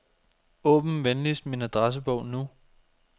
Åbn venligst min adressebog nu.